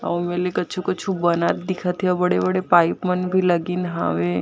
अउ ए मेर ले कुछु-कुछु बनत दिखत हे अउ बड़े-बड़े पाइप मन भी लागिन हावे।